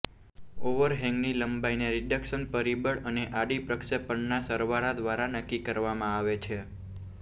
ઓવરહેંગની લંબાઈને રિડક્શન પરિબળ અને આડી પ્રક્ષેપણના સરવાળા દ્વારા નક્કી કરવામાં આવે છે